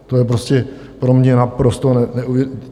To je prostě pro mě naprosto neuvěřitelné.